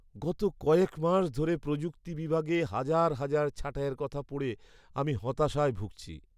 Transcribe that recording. গত কয়েক মাস ধরে প্রযুক্তি বিভাগে হাজার হাজার ছাঁটাইয়ের কথা পড়ে আমি হতাশায় ভুগছি।